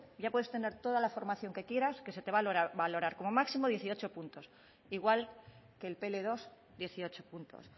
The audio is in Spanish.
ya puedes tener toda la formación que quieras que se te va a valorar como máximo dieciocho puntos igual que el pe ele dos dieciocho puntos